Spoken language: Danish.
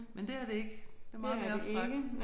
Men det er det ikke. Det er meget mere abstrakt